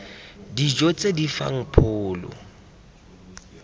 dijo tse di fang pholo